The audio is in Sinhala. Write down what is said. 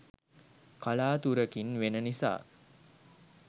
කලාතුරකින් වෙන නිසා